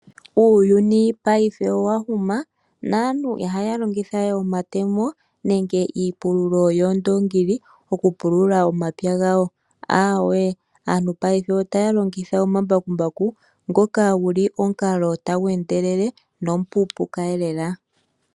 Uuyuni paife owahuma naantu ihaya longitha we omatemo nenge iipululo yoondongili okupulula omapya gawo ndee aantu otaa longitha ombakumbaku ngoka guli omukalo tagu endelele gwo omupuupuka eelela.